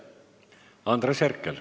Andres Herkel.